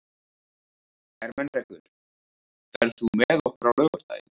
Ermenrekur, ferð þú með okkur á laugardaginn?